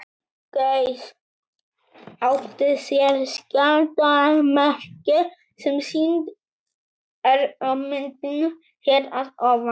Gauss átti sér skjaldarmerki, sem sýnt er á myndinni hér að ofan.